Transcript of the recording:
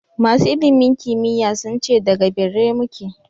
Masu ilimin kimiyy sun ce da g birrai mu ke.